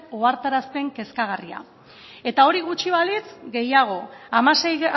ohartarazten kezkagarria eta hori gutxi balitz gehiago hamasei